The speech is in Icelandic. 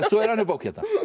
svo er önnur bók hérna